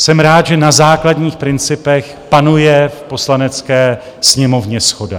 Jsem rád, že na základních principech panuje v Poslanecké sněmovně shoda.